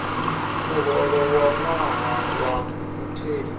muholo wa ṅwaha wa mutheli